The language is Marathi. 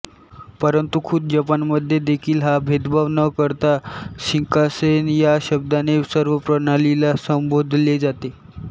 परंतु खुद्द जपानम्ध्येदेखील हा भेदभाव न करता शिंकान्सेन या शब्दाने सर्व प्रणालीला संबोधले जाते